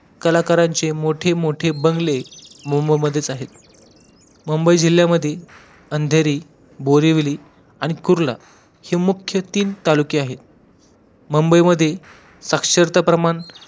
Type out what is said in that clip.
कलाकारांचे मोठे मोठे बंगले मुंबई मधेच आहेत, मुंबई जिल्ह्यामध्ये अंधेरी, बोरिवली आणि कुर्ला हि मुख्य तीन तालुके आहेत मुंबई मध्ये साक्षरता प्रमाण